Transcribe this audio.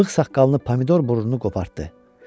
Bığ-saqqalını, pomidor burnunu qopartdı.